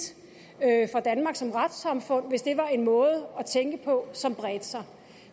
jeg tager danmark som retssamfund hvis det var en måde at tænke på som bredte sig